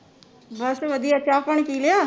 ਬੱਸ ਵਧੀਆ ਚਾਅ ਪਾਣੀ ਪੀ ਲਿਆ